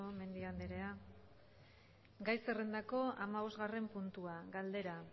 mendia andrea gai zerrendako hamabosgarren puntua galdera